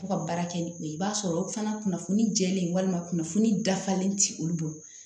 Fo ka baara kɛ ni o ye i b'a sɔrɔ o fana kunnafoni jɛlen walima kunnafoni dafalen ti olu bolo